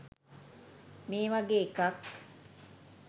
මේ වගේ එකක්.